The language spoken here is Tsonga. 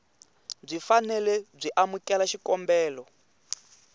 byi fanele byi amukela xikombelo